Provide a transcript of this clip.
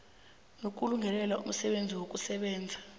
nokulungelela umsebenzi wokusebenza